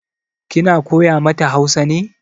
Kina koya mata Hausa ne?